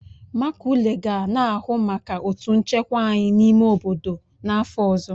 Maculey ga na-ahụ maka otu nchekwa anyị n'ime obodo n'afọ ọzọ